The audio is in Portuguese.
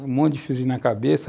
Um monte de fiozinhos na cabeça.